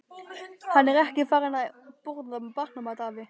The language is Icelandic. Hann er ekki farinn að borða barnamat, afi.